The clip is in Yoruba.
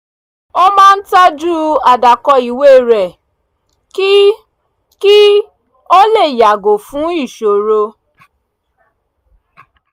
ó máa ń tọ́jú àdákọ ìwé rẹ̀ kí kí o lè yàgò fún ìṣòro